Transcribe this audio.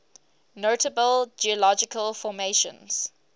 notable geological formations